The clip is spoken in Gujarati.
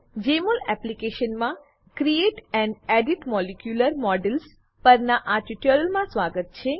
જેમોલ એપ્લીકેશનમાં create and edit molecular models પરનાં આ ટ્યુટોરીયલમાં સ્વાગત છે